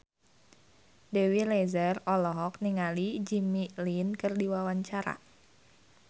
Dewi Rezer olohok ningali Jimmy Lin keur diwawancara